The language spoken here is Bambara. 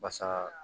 Basa